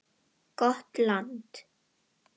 Gott land.